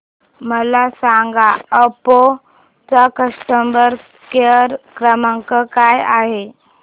मला सांगा ओप्पो चा कस्टमर केअर क्रमांक काय आहे